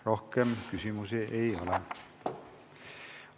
Rohkem küsimusi ei ole.